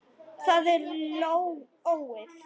Það er lógóið.